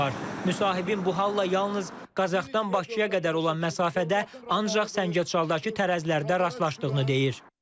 Müsahibin bu halla yalnız Qazaxdan Bakıya qədər olan məsafədə ancaq Səngəçaldakı tərəzilərdə rastlaşdığını deyir.